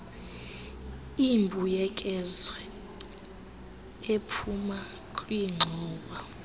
imbuyekezo ephuma kwingxowa